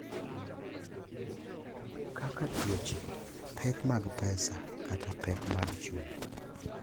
Kaka tuoche, pek mag pesa, kata pek mag chuny.